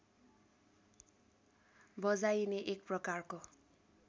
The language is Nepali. बजाइने एक प्रकारको